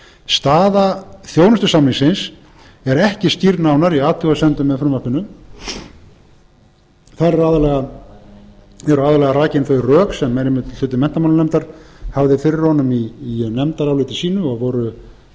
staða þjónustusamningsins er ekki skýrð nánar í athugasemdum með frumvarpinu þar eru aðallega rakin þau rök sem hluti menntamálanefndar hafði fyrir honum í nefndaráliti sínu og voru